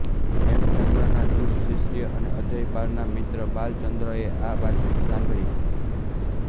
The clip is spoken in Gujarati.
હેમચંદ્રના દુષ્ટ શિષ્ય અને અજયપાળના મિત્ર બાલચંદ્રએ આ વાતચીત સાંભળી